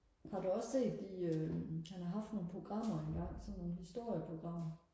har du også set de øhm han har haft nogle programmer engang sådan nogle historie programmer